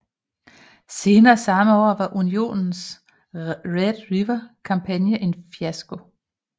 Senere samme år var Unionens Red River kampagne en fiasko